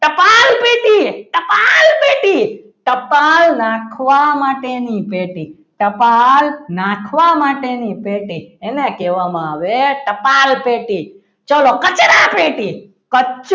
ટપાલ નાખવા માટેની પેટી ટપાલ નાખવા માટેની પેટી એને કહેવામાં આવે ટપાલ પેટી ચલો કચરાપેટી કચરો